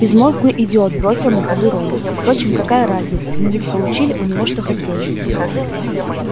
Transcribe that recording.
безмозглый идиот бросил на ходу рон впрочем какая разница мы ведь получили у него что хотели